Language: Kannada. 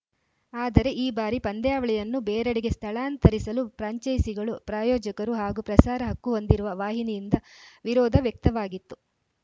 ಆದರೆ ಈ ಬಾರಿ ಪಂದ್ಯಾವಳಿಯನ್ನು ಬೇರೆಡೆಗೆ ಸ್ಥಳಾಂತರಿಸಲು ಫ್ರಾಂಚೈಸಿಗಳು ಪ್ರಾಯೋಜಕರು ಹಾಗೂ ಪ್ರಸಾರ ಹಕ್ಕು ಹೊಂದಿರುವ ವಾಹಿನಿಯಿಂದ ವಿರೋಧ ವ್ಯಕ್ತವಾಗಿತ್ತು